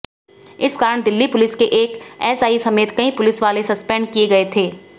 इस कारण दिल्ली पुलिस के एक एसआई समेत कई पुलिस वाले सस्पेंड किए गए थे